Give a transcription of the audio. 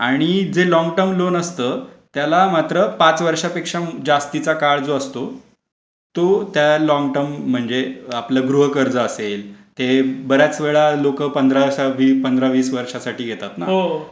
आणि जे लोंगटर्म असतं त्याला मात्र पाच वर्षापेक्षा जास्तीचा काळ जो असतो तो त्या लॉंग टर्म म्हणजे गृह कर्ज असेल तर ते बरेच वेळा लोक पंधरा वीस वर्षा साठी घेतात.